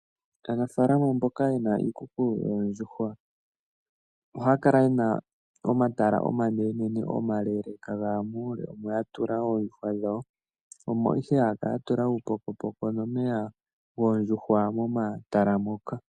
Aanafalama mboka ye na iikuku yoondjuhwa ohaya kala ye na omatala omanenene omaleeleka ga ya muule omo ya tula oondjuhwa dhawo. Omo ihe haya kala ya tula uupokopoko nomeya goondjuhwa momatala moka.